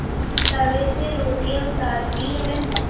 तवे से रोटियाँ उतारती हैं